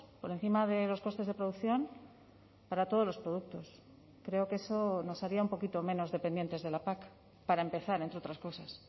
por encima de los costes de producción para todos los productos creo que eso nos haría un poquito menos dependientes de la pac para empezar entre otras cosas